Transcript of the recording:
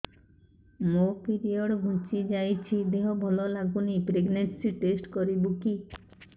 ମୋ ପିରିଅଡ଼ ଘୁଞ୍ଚି ଯାଇଛି ଦେହ ଭଲ ଲାଗୁନି ପ୍ରେଗ୍ନନ୍ସି ଟେଷ୍ଟ କରିବୁ କି